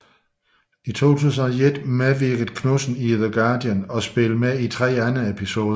I 2001 medvirkede Knudsen i The Guardian og spillede med i tre andre episoder